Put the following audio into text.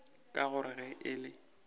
ka gore ge e le